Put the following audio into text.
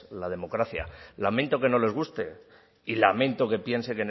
la democracia lamento que no le guste y lamento que piense